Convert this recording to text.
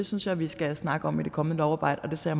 synes jeg vi skal snakke om i det kommende lovarbejde og det ser